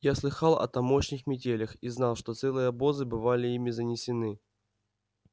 я слыхал о тамошних метелях и знал что целые обозы бывали ими занесены